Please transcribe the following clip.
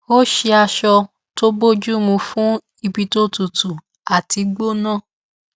ó ṣe aṣọ tó bójú mu fún ibi tó tutu àti gbóná